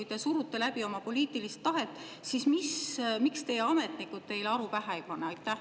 Ja kui te surute läbi oma poliitilist tahet, siis miks teie ametnikud teile aru pähe ei pane?